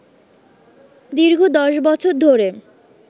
দীর্ঘ ১০ বছর ধরে